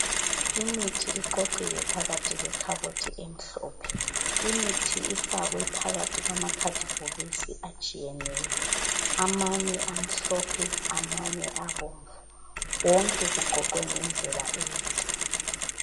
Imithi iqoqiwe phakathi kwekhabothi emhlophe. Imithi ifakwe phakathi kwama khadibhokisi atshiyeneyo, amanye amhlophe, amanye abomvu .Wonke kuqoqwe ngendlela enhle.